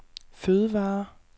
fødevarer